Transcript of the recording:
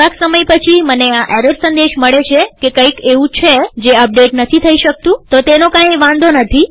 થોડાક સમય પછીમને આ એરર સંદેશ મળે છે કે કંઈક એવું છે જે અપડેટ નથી થઇ શકતુંતો તેનો કાંઈ વાંધો નથી